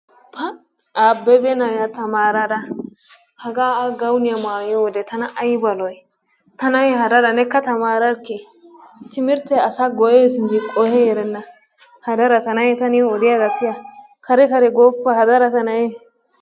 Pa! Abebe na'iyaa tamaraara hagaa A guwaaniyaa maayiyode tana ayba lo"ii! Ta na'ee hadara neekka taararikkii? Timirttee asaa go"ees enji qohi erenna. Hadara ta na'ee ta niyo odiyogaa siya. Kare kare gooppa hadara ta na'ee.